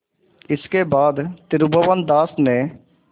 इसके बाद त्रिभुवनदास ने